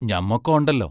ഞമ്മക്ക് ഒണ്ടല്ലോ!